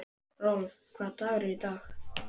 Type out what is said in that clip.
Rolf, hvaða dagur er í dag?